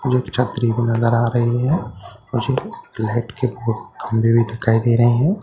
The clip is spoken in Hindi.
मुझे एक छतरी भी नजर आ रही है मुझे ला लाइट के खंबे भी दिखाई दे रहे हैं ।